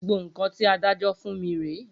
Gbogbo nkan ti adájọ́ fún mí re